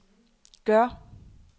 gør